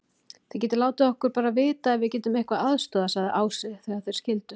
Þið látið okkur bara vita ef við getum eitthvað aðstoðað, sagði Ási þegar þeir skildu.